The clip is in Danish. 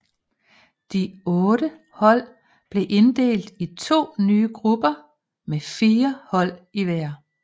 De otte hold blev inddelt i to nye grupper med fire hold i hver